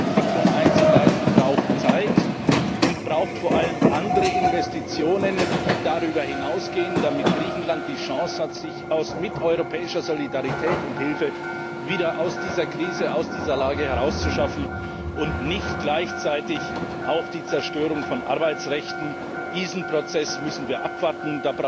Diese Entwicklung einzuleiten, braucht Zeit und braucht vor allem andere Investitionen, die darüber hinausgehen, damit Griechenland die Chance hat, mit europäischer Solidarität und Hilfe wieder aus dieser Krise, aus dieser Lage herauszukommen und nicht gleichzeitig auch Arbeitsrechte zu zerstören. Diesen Prozess müssen wir abwarten.